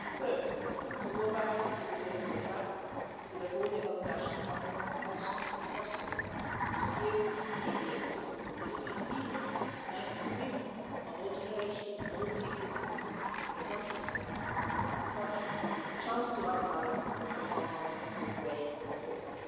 Third, to go back to the political track with the holding of the National Conference as soon as possible to give Libyans, the Libyan people, men and women of all generations, of all cities and in the countryside of the country, the chance to outline their common way forward.